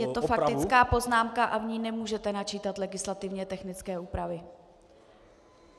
Je to faktická poznámka a v ní nemůžete načítat legislativně technické úpravy.